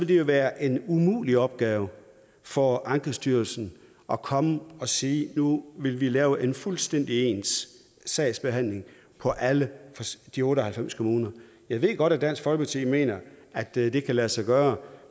jo være en umulig opgave for ankestyrelsen at komme og sige nu vil vi lave en fuldstændig ens sagsbehandling for alle de otte og halvfems kommuner jeg ved godt at dansk folkeparti mener at det kan lade sig gøre